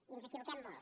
i ens equivoquem molt